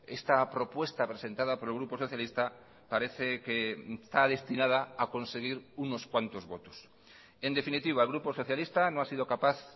esta propuesta presentada por el grupo socialista parece que está destinada a conseguir unos cuantos votos en definitiva el grupo socialista no ha sido capaz